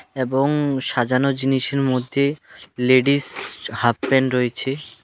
এবং সাজানো জিনিসের মধ্যে লেডিস হাফ প্যান্ট রয়েছে .